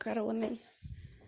короной